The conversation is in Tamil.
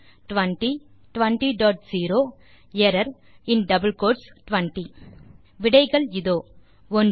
200 எர்ரர் 20 விடைகள் இதோ 1